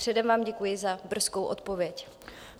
Předem vám děkuji za brzkou odpověď.